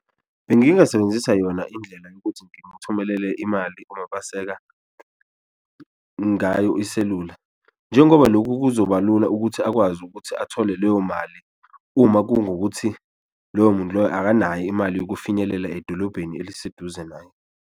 Bengingasebenzisa yona indlela yokuthi ngimuthumelele imali uMapaseka ngayo iselula njengoba loku kuzoba lula ukuthi akwazi ukuthi athole leyo mali, uma kungukuthi loyo muntu loyo akanayo imali yokufinyelela edolobheni eliseduze naye.